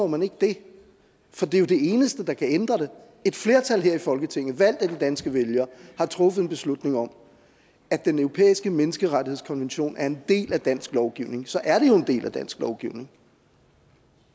man ikke det for det er jo det eneste der kan ændre det når et flertal her i folketinget valgt af de danske vælgere har truffet en beslutning om at den europæiske menneskerettighedskonvention er en del af dansk lovgivning så er det jo en del af dansk lovgivning